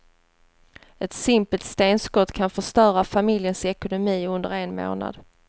Ett simpelt stenskott kan förstöra familjens ekonomi under en månad.